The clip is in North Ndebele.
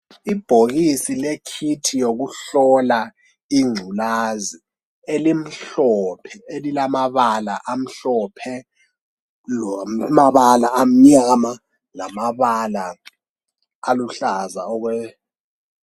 Ibhokisi lekhithi yokuhlola inculazi elimhlophe elilamabala amhlophe lamabala amnyama lamabala aluhlaza okwe.